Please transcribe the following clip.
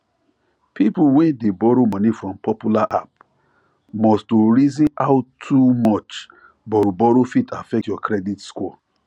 people wey dey borrow money from popular app must to reason how too much borrowborrow fit affect your credit score